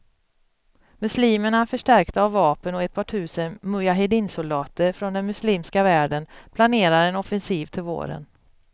Muslimerna, förstärkta av vapen och ett par tusen mujaheddinsoldater från den muslimska världen, planerar en offensiv till våren.